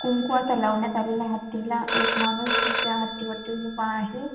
कुंकू आता लावण्यात आलेला आहे. हत्तीला एक माणूस त्या हत्ती वरती उभा आहे.